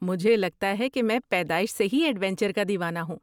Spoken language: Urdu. مجھے لگتا ہے کہ میں پیدائش سے ہی ایڈونچر کا دیوانہ ہوں۔